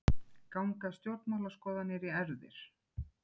Ganga stjórnmálaskoðanir í erfðir?